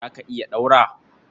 Za ka iya ɗaura